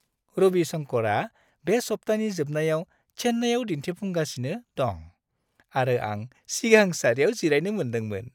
रवि शंकरआ बे सप्तानि जोबनायाव चेन्नाईआव दिन्थिफुंगासिनो दं आरो आं सिगां सारियाव जिरायनो मोनदोंमोन!